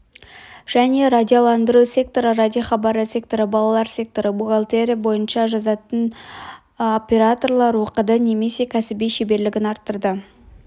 және радиоландыру секторы радиохабары секторы балалар секторы бухгалтерия бойынша дыбыс жазатын операторлар оқыды немесе кәсіби шеберлігін арттырды